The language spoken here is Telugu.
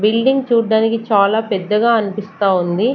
బిల్డింగ్ చూడడానికి చాలా పెద్దగా అనిపిస్తా ఉంది.